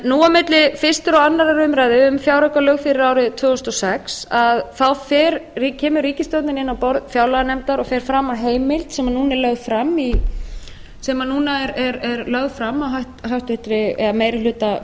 nú á milli fyrstu og annarrar umræðu um fjáraukalög fyrir árið tvö þúsund og sex kemur ríkisstjórnin inn á borð fjárlaganefndar og fer fram á heimild sem núna er lögð fram af meiri hluta